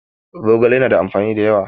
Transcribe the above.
Zogale ya na da amfani da yawa